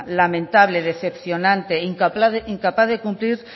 lamentable decepcionante incapaz de cumplir